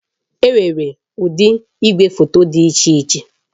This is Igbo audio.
Enwere ụdị igwefoto dị iche iche